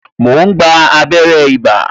Mo ń gba abere ibà